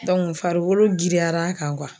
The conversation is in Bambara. farikolo giriyara kan